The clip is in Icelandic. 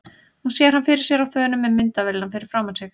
Hún sér hann fyrir sér á þönum með myndavélina fyrir framan sig.